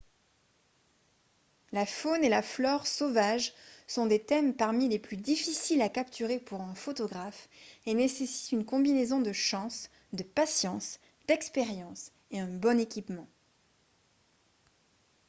la faune et la flore sauvages sont des thèmes parmi les plus difficiles à capturer pour un photographe et nécessitent une combinaison de chance de patience d'expérience et un bon équipement